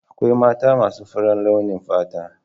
Akwai mata masu faran launin fata.